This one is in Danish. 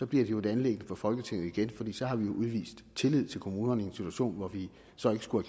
bliver det et anliggende for folketinget igen for så har vi udvist tillid til kommunerne i en situation hvor vi så ikke skulle